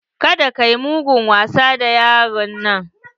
Kada kayi mugun wasa da yaro na!